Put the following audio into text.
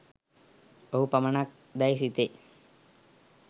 ඔහු පමණක් දැයි සිතේ